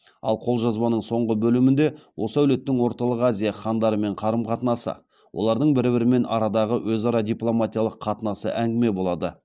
ал қолжазбаның соңғы бөлімінде осы әулеттің орталық азия хандарымен қарым қатынасы олардың бір бірімен арадағы өзара дипломатиялық қатынасы әңгіме болады